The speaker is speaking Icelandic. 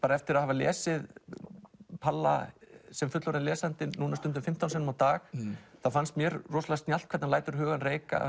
eftir að hafa lesið palla sem fullorðinn lesandi núna stundum fimmtán sinnum á dag fannst mér snjallt hvernig hann lætur hugann reika